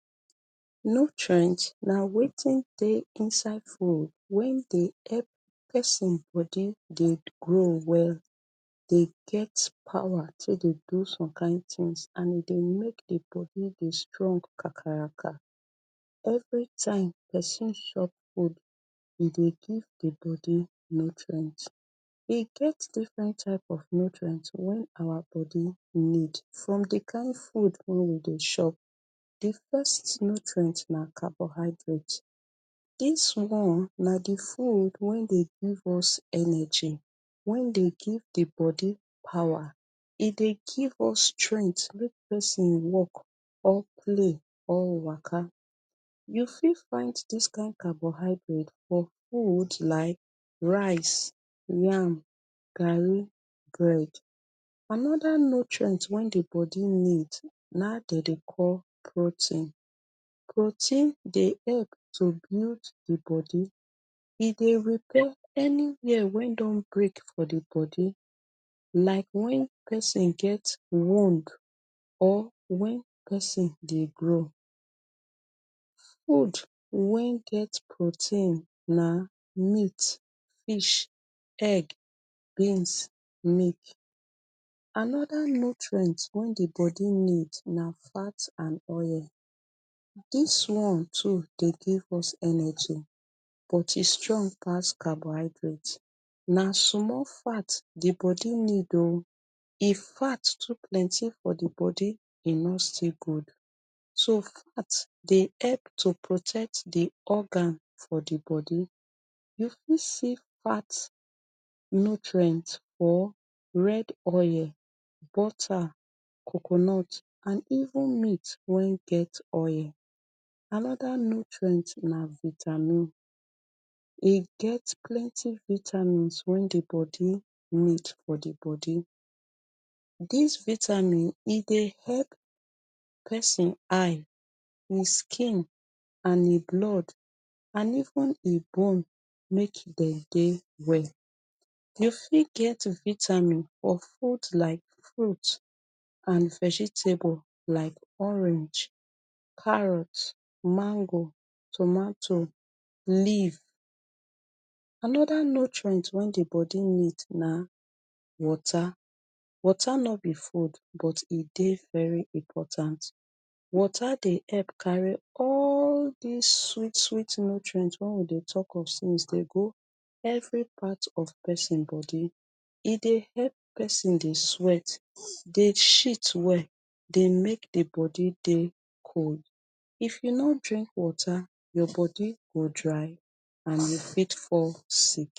Nutrient na wetin dey inside food wen dey epp pesin body dey grow well dey get power take dey do some kain tins and e dey make di bodi dey strong kakaraka. Everytime pesin shop food, e dey give di bodi nutrient. E get different type of nutrient wey awa bodi need from di kain food wen we dey shop. Di first nutrient na carbohydrate. Dis one na di food wen dey give us energy wen dey give di bodi power e dey give us strengt make pesin work or play or waka. You fit find dis kain carbohydrate for food like rice, yam, garri, bread. Anoda nutrient wen di bodi need na dey dey call protein. Protein dey epp to build di bodi. E dey repair anywhere wen don break for di bodi, like when pesin get wound or when pesin dey grow. Food wen get protein na meat, fish, egg, beans, milk. Anoda nutrient wen di bodi need na fat and oil. Dis one too dey give us energy, but e strong pass carbohydrate na sumol fat di bodi need o. If fat too plenty for di bodi, e no still good. So fat dey epp to protect di organ for di bodi. You fit see fat nutrient or red oil, butter, coconut or even meat wen get oil. Anoda nutrient na vitamin. E get plenty vitamins wen di body need for di bodi. Dis vitamin e dey hep pesin eye, e skin and ie blood and even e bone make e dey dey well. You fit get vitamins for food like fruits and vegetable like orange, carrot, mango, tomato, leaf. Anoda nutrient wen di bodi need na water. Water no be food, but e dey very important. Water dey epp carry all dis sweet sweet nutrients wen we dey talk of since dey go evri part of pesin bodi. E dey hep pesin dey sweat, dey shit well, dey make di body dey cold. If you no drink water, your body go dry and you fit fall sick.